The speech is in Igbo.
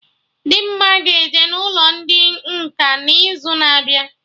Dimma ga-eje n'ụlọ ndị nkà n'izu na-abịa